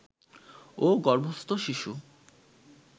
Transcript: ও গর্ভস্থ শিশু